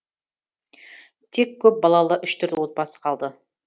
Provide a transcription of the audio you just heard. тек көпбалалы үш төрт отбасы қалды